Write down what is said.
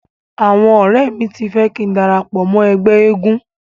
Àwọn ọ̀rẹ́ mi ti fẹ́ kín darapọ̀ mọ́ ẹgbẹ́ eégun.